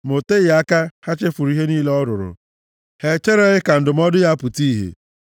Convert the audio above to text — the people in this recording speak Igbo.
Ma o teghị aka, ha chefuru ihe niile ọ rụrụ, ha e chereghị ka ndụmọdụ ya pụta ìhè.